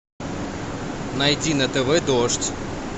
найди на тв дождь